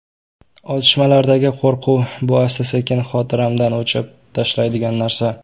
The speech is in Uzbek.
Otishmalardagi qo‘rquv, bu asta-sekin xotiramdan o‘chirib tashlaydigan narsa.